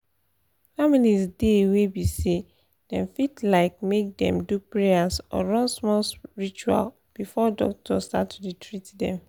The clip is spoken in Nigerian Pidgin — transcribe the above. families dey wey be say dem fit like make dem do prayers or run small ritual before doctor start to dey treat them.